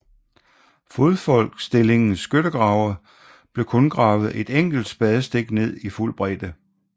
Fodfolksstillingens skyttegrave blev kun gravet et enkelt spadestik ned i fuld bredde